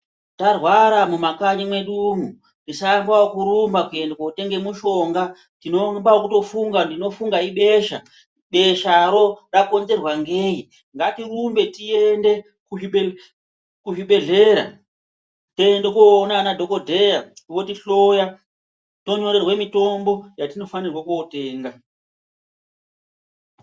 Tarwara mumakanyi mwedu umwo, tisaambe ekurumba kootenga mishonga. Tinoamba ekufunga kuti ibesha, besharo rakonzerwa ngeyi, tiende kuchibhedhlera tiende koona madhokodheya oti hloya tonyorerwa mitombo yatinofanire kootenga.